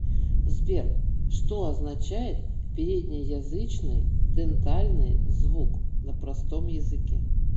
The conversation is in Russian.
сбер что означает переднеязычный дентальный звук на простом языке